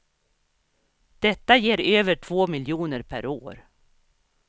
Detta ger över två miljoner per år.